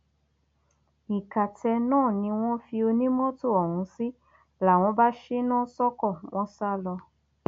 ìkàtẹ náà ni wọn fi onímọtò ọhún sí làwọn bá ṣínà sóko wọn sá lọ